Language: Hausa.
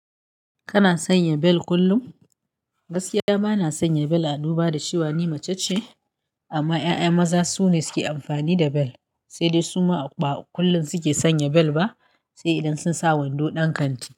Kana sanya bel kullum? Gaskiya bana sanya bel a dubu da cewa ni mace ce, amma 'ya'ya maza su ne suke amfani da bel, sai dai su ma ba kullum suke sanya bel ba, sai idan sun sa wando ɗan kanti.